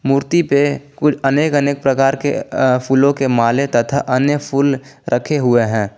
मूर्ती पे कुछ अनेक अनेक प्रकार के फूलों के माले तथा अन्य फूल रखे हुए हैं।